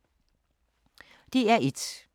DR1